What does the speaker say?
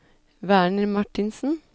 Werner Martinsen